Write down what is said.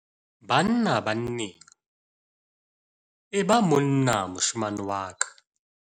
Banna-banneng- E ba monna moshemane wa ka